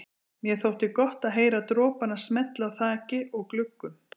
Mér þótti gott að heyra dropana smella á þaki og gluggum.